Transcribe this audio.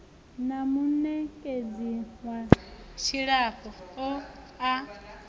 na munekedzi wa dzilafho a